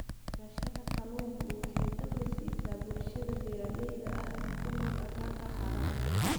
Beerashada kalluunku waxay dakhli siisaa bulshada beeralayda ah ee ku nool aagagga harada.